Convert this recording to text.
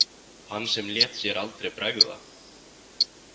Hann sem lét sér aldrei bregða.